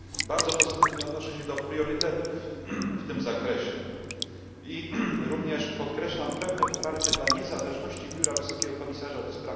Bardzo pozytywnie odnoszę się do priorytetów w tym zakresie i również podkreślam pełne poparcie dla niezależności Biura Wysokiego Komisarza ds.